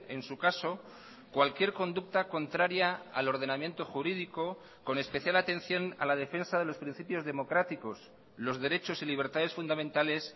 en su caso cualquier conducta contraria al ordenamiento jurídico con especial atención a la defensa de los principios democráticos los derechos y libertades fundamentales